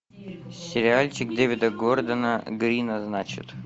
сериальчик дэвида гордона грина значит